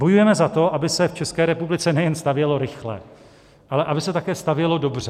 Bojujeme za to, aby se v České republice nejen stavělo rychle, ale aby se také stavělo dobře.